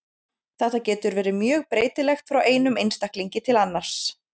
Þetta getur verið mjög breytilegt frá einum einstaklingi til annars.